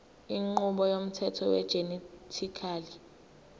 inqubo yomthetho wegenetically